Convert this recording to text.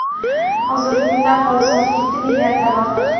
hozirgi kunda aholi soni yetti milliarddan ortiq.